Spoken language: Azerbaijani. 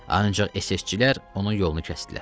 Ancaq SS-çilər onun yolunu kəsdilər.